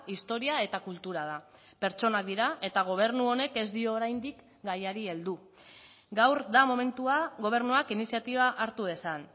historia eta kultura da pertsonak dira eta gobernu honek ez dio oraindik gaiari heldu gaur da momentua gobernuak iniziatiba hartu dezan